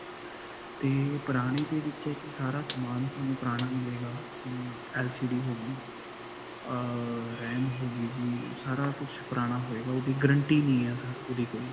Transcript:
'ਤੇ ਪੁਰਾਣੇ ਦੇ ਵਿੱਚ ਹੈ ਕਿ ਸਾਰਾ ਸਮਾਨ ਤੁਹਾਨੂੰ ਪੁਰਾਣਾ ਮਿਲੇਗਾ, ਜਿਵੇਂ LCD ਹੋ ਗਈ ਅਅ RAM ਹੋ ਗਈ ਜੀ. ਸਾਰਾ ਕੁਝ ਪੁਰਾਣਾ ਹੋਏਗਾ. ਓਹਦੀ guarantee ਨਹੀਂ sir ਓਹਦੀ ਕੋਈ.